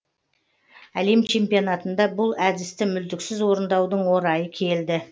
әлем чемпионатында бұл әдісті мүлтіксіз орындаудың орайы келді